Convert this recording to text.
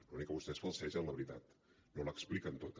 l’únic que vostès falsegen la veritat no l’expliquen tota